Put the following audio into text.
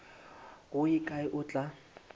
go ye kae o tla